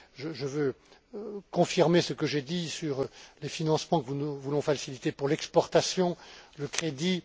Je veux confirmer ce que j'ai dit sur les financements, que nous voulons faciliter pour l'exportation et le crédit.